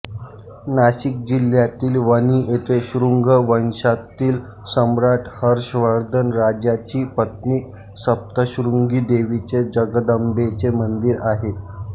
नाशिक जिल्ह्यातील वणी येथे शृंग वंशातील सम्राट हर्षवर्धन राजाची पत्नी सप्तशृंगी देवीचे जगदंबेचे मंदिर आहे